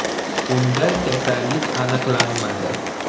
Unda kasallik aniqlanmadi.